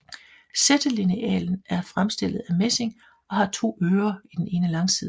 Sættelinealen er fremstillet af messing og har to ører i den ene langside